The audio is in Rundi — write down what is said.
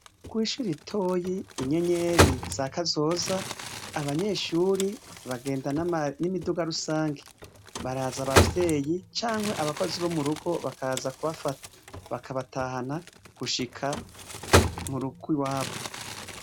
Kwishuri itoyi inyenyeri za kazoza abanyeshuri bagendann'imiduga rusange baraza abavyeyi canke abakozi bo mu rugo bakaza kubafata bakabatahana gushika mu rugwi wabo.